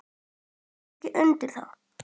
Ég tek ekki undir það.